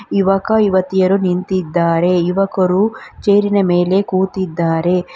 ಯುವಕ ಯುವತಿಯರು ನಿಂತಿದ್ದಾರೆ ಯುವಕರು ಚೇರಿನ ಮೇಲೆ ಕೂತಿದ್ದಾರೆ.